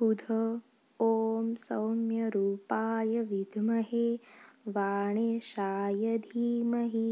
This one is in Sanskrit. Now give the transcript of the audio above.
बुध ॐ सौम्यरूपाय विद्महे वाणेशाय धीमहि